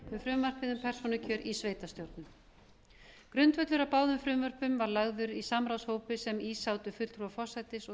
um frumvarpið um persónukjör í sveitarstjórnum grundvöllur að báðum frumvörpum var lagður í samráðshópi sem í sátu fulltrúar forsætis og